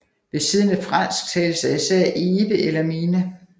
Ved siden af fransk tales der især Ewe eller Mina